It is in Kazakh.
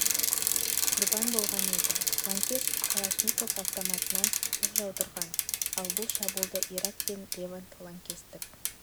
құрбан болған еді лаңкес калашников автоматынан оқ жаудырған ал бұл шабуылды ирак пен левант лаңкестік